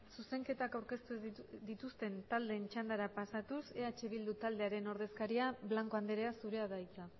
zuzenketak aurkeztu dituzten taldeen txandara pasatuz eh bildu taldearen ordezkaria blanco andrea zurea da hitza